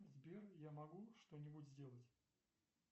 сбер я могу что нибудь сделать